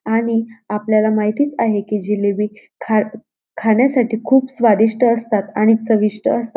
आणि आपल्याला माहितीच आहे जिलेबी खा खाण्यासाठी खूप स्वादिष्ट असतात आणि चविष्ट असतात.